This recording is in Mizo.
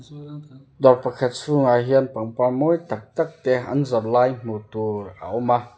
dawr pakhat chhungah hian pangpar mawi tak tak te an zawrh lai hmuh tur a awm a.